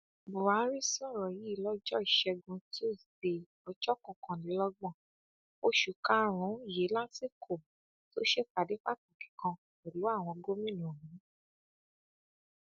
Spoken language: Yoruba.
buhari sọrọ yìí lọjọ ìṣẹgun tusidee ọjọ kọkànlélọgbọn oṣù karùnún yìí lásìkò tó ṣèpàdé pàtàkì kan pẹlú àwọn gómìnà ọhún